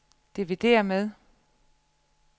dividér med